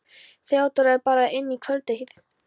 Theodóra er að bera inn kvöldteið.